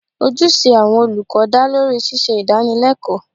Ojúṣe àwọn olùkọ́ dá lórí ṣíṣe Ìdánilẹ́kọ̀ọ́